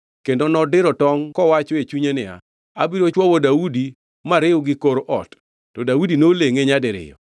kendo nodiro tongʼ kowacho e chunye niya, “Abiro chwowo Daudi mariw gi kor ot.” To Daudi nolengʼe nyadiriyo.